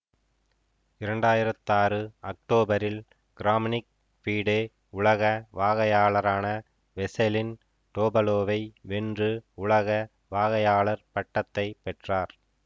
இரண்டாயிரத்தி ஆறு அக்டோபரில் கிராம்னிக் பீடே உலக வாகையாளரான வெசெலின் டோபலோவை வென்று உலக வாகையாளர் பட்டத்தை பெற்றார்